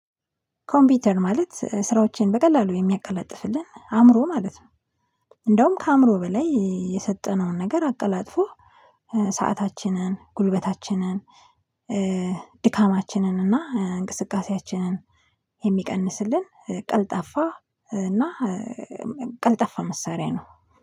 ኮምፒውተር ማለት ስራዎችን በቀላሉ የሚያቀላጥፍልን አእምሮ ማለት ነው። እንደውም ከአእምሮ በላይ የሰጠነውን ነገር አቀላጥፎ ሰአታችንን ጉልበታችንን። ድካማችንን እና እንቅስቃሴያችንን የሚቀንስልን ቀልጣፋ እና ቀልጠፋ መሳሪያ ነው